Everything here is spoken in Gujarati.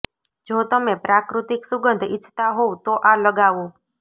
જો તમે પ્રાકૃતિક સુંગધ ઈચ્છતા હોવ તો આ લગાવો